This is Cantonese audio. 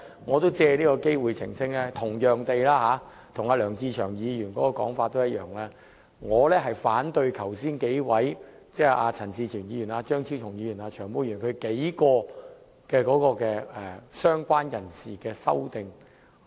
我藉此機會澄清，我跟梁志祥議員的說法一樣，我反對陳志全議員、張超雄議員和"長毛"等就"相關人士"定義提出的修正案。